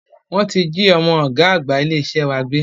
Wọ́n ti jí ọmọ ọ̀gá àgbà ilé iṣẹ́ wa gbé